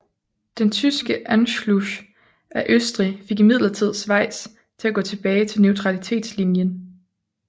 Den tyske Anschluss af Østrig fik imidlertid Schweiz til at gå tilbage til neutralitetslinjen